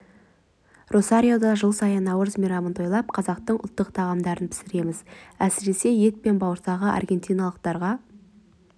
росариода жыл сайын наурыз мейрамын тойлап қазақтың ұлттық тағамдарын пісіреміз әсіресе ет пен бауырсағы аргентиналықтарға